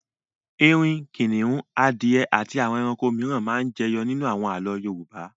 Erin, kìnnìún, adìẹ àti àwọn ẹranko mìíràn máa ń jẹyọ nínú àwọn àlọ́ Yorùbá.